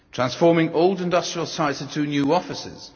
transforming old industrial sites into new offices